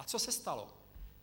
A co se stalo?